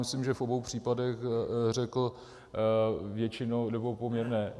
Myslím, že v obou případech řekl většinou nebo poměrné.